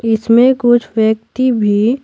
इसमें कुछ व्यक्ति भी--